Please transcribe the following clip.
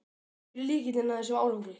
Hver er lykillinn að þessum árangri?